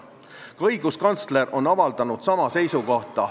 Ka õiguskantsler on avaldanud sama seisukohta.